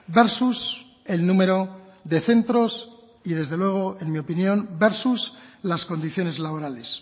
versus el número de centros y desde luego en mi opinión versus las condiciones laborales